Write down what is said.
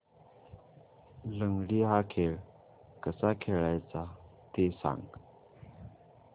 लंगडी हा खेळ कसा खेळाचा ते सांग